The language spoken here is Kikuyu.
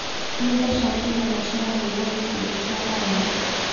Nĩ mbeca cigana ciaheirwo gĩkundi kĩa mwanya?